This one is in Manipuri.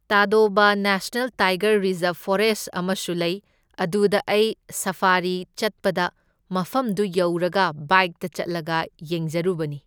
ꯇꯗꯣꯕ ꯅꯦꯁꯅꯦꯜ ꯇꯥꯏꯒꯔ ꯔꯤꯖꯥꯔꯕ ꯐꯣꯔꯦꯁ ꯑꯃꯁꯨ ꯂꯩ, ꯑꯗꯨꯗ ꯑꯩ ꯁꯐꯥꯔꯤ ꯆꯠꯄꯗ ꯃꯐꯝꯗꯨ ꯌꯧꯔꯒ ꯕꯥꯏꯛꯇ ꯆꯠꯂꯒ ꯌꯦꯡꯖꯔꯨꯕꯅꯤ꯫